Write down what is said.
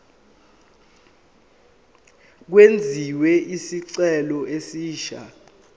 kwenziwe isicelo esisha